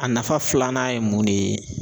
A nafa filanan ye mun de ye